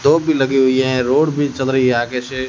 तोफ़ भी लगी हुई है रोड भी चल रही है आगे से--